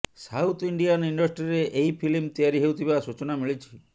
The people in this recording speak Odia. ସାଉଥ ଇଣ୍ଡିଆନ ଇଣ୍ଡଷ୍ଟ୍ରିରେ ଏହି ଫିଲ୍ମ ତିଆରି ହେଉଥିବା ସୂଚନା ମିଳିଛି